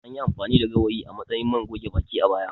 Anyi amfani da gawayi a matsayin man goge baki, a baya.